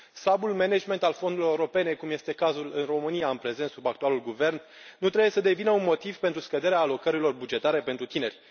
Slabul management al fondurilor europene, cum este cazul în România, în prezent, sub actualul guvern, nu trebuie să devină un motiv pentru scăderea alocărilor bugetare pentru tineri.